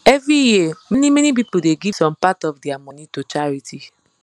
every year manymany people dey give some part of dia money to charity